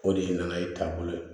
O de ye n nana ye taabolo ye